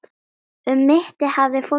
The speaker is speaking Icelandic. Um mittið hafði fólk belti.